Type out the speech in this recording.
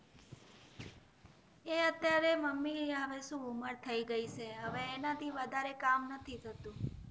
એ અત્યારે મમી આ ઉમર થઈ ગયા છે હવે એમના થી કામ નથી થતું